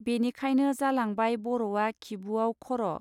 बेनिखायनो जालांबाय बर आ खिबुआव खर.